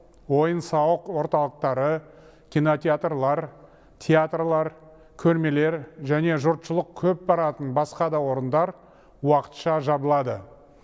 ойын сауық орталықтары кинотеатрлар театрлар көрмелер және жұртшылық көп баратын басқа да орындар уақытша жабылады